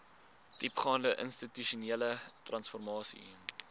diepgaande institusionele transformasie